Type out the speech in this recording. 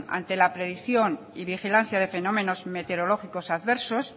ante la predicción de vigilancia de fenómenos meteorológicas adversos